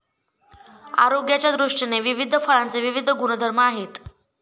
आरोग्याच्यादृष्टीने विविध फळांचे विविध गुणधर्म आहेत.